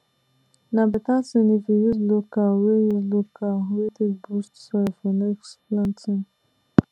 na better thing if you use local way u local way take boost soil for next planting